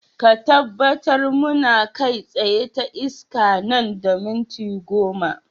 Ka tabbatar muna kai tsaye ta iska nan da minti goma.